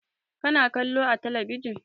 Ka na kallo a talabijin?